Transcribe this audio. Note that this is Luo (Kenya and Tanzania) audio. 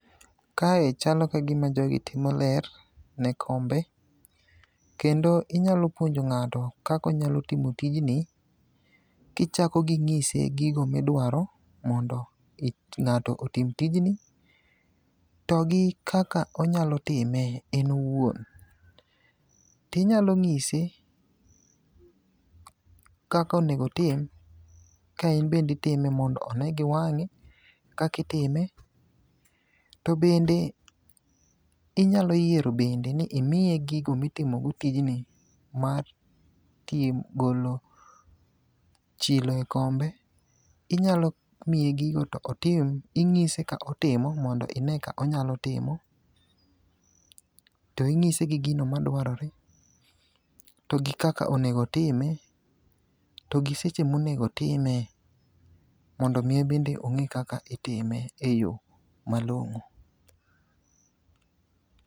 Kae chalo kagima jogi timo ler ne kombe, kendo inyalo puonjo ng'ato kaka onyalo timo tijni kichako ging'ise gigo midwaro mondo ng'ato otim tijni to gi kaka onyalo time en owuon. Tinyalo ng'ise kaka onego otim ka in bende itime mondo one gi wang'e kaka itime to bende inyalo yiero bende ni imiye gigo mitimo go tijni mar golo chilo e kombe, inyalo miye gigo to otim, ing'ise ka otimo mondo ine ka onyalo timo, to ing'ise gi gino madwarore to gi kaka onego otime to gi seche monego otime mondo omi obende ong'e kaka itime e yo malong'o.